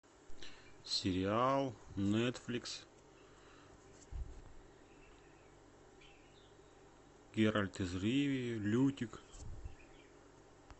сериал нетфликс геральт из ривии лютик